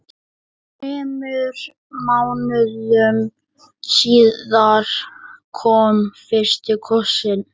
Þremur mánuðum síðar kom fyrsti kossinn.